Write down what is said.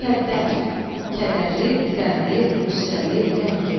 Mükəddər – kədərli, qəmli, qüssəli, qəmgin.